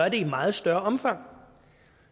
et meget større omfang